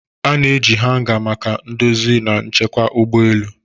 A na-eji hanga maka ndozi na nchekwa ụgbọ elu.